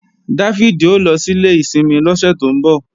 Dáfídì ó lọ sílé ìsinmi lọ́sẹ̀ tó ń bọ̀